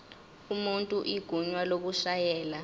umuntu igunya lokushayela